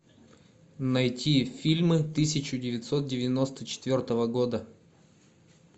найти фильмы тысяча девятьсот девяносто четвертого года